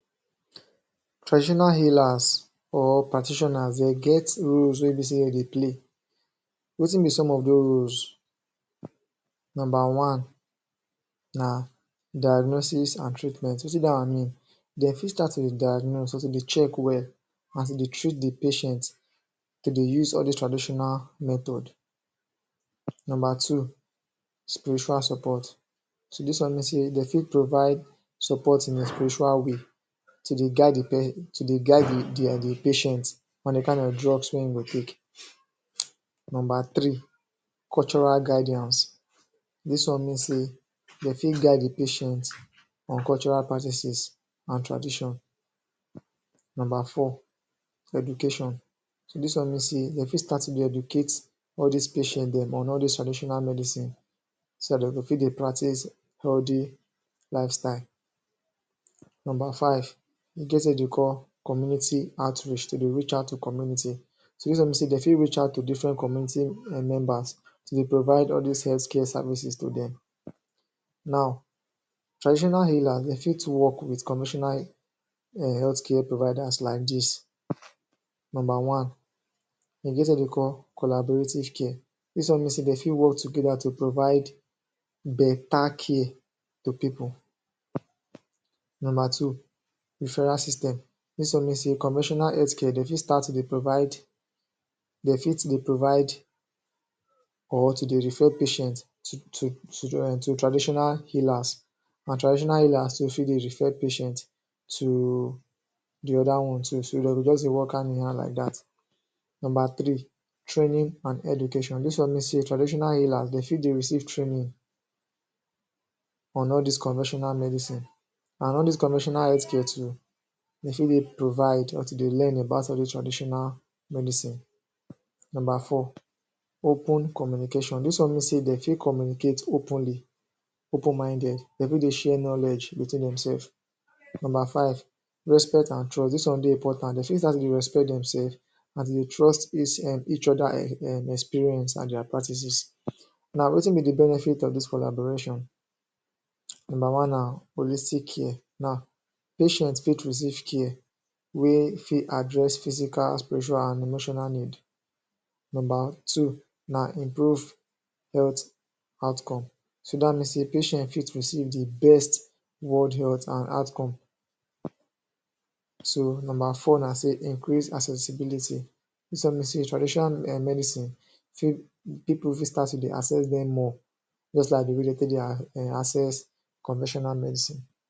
Traditional healers or practitioners de get roles wey be sey de dey play. Wetin be some of dos roles? Nomba one: na diagnosis an treatment. Wetin da one mean? De fit start to dey diagnose, also dey check well, an to dey treat the patient. De dey use all dos traditional method. Nomba two: Spiritual Support. So, dis one mean sey de fit provide support in a spiritual way to dey guide the um patient an the kain of drugs wey ein go take. Nomba three: Cultural guidance. Dis one mean sey de fit guide the patient on cultural practices an tradition. Nomba four: Education. Dis one mean sey de fit start to dey educate all dis patient dem on all dis traditional medicine so dat de go fit dey practice healthy lifestyle. Nomba five: E get wetin de dey call community outreach— to dey reach out to community. So, dis one mean sey de fit reach out to different community members to dey provide all dis health care services to dem. Now, traditional healers, de fit work with conventional um health care providers like dis: Nomba one: E get wetin de dey call collaborative care. Dis one mean sey de fit work together to provide beta care to pipu. Nomba two: Referral system. Dis one mean sey conventional health care, de fit start to dey provide or to dey refer patients to um traditional healers, an traditional healers too fit dey refer patient to the other one too, so de go juz dey work hand-in-hand like dat. Nomba three: Training and education. Dis one mean sey traditional healers, de fit dey receive training on all dis conventional medicine, an all dis conventional health care too, de fit dey provide or to dey learn about all dos traditional medicine. Nomba four: Open communication. Dis one mean sey de fit communicate openly, open minded. De fit dey share knowledge between demsef. Nomba five: Respect an trust. Dis one dey important. De fit start to dey respect demsef, an to dey trust um each other um experience an dia practices. Now, wetin be the benefit of dis collaboration? Nomba one na holistic care. Now, patient fit receive care wey fit address physical, spiritual, an emotional need. Nomba two na improve health outcome. So, dat mean sey patient fit receive the best world health an outcome. So, nomba four na sey increase accessibility. Dis one mean sey traditional um medicine, pipu fit start to dey access dem more, juz like the way de take dey um access conventional medicine.